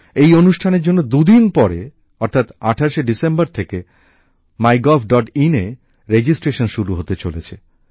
এই অনুষ্ঠানের জন্য দুদিন পরে অর্থাৎ ২৮শে ডিসেম্বর থেকে mygovin এ রেজিস্ট্রেশন শুরু হতে চলেছে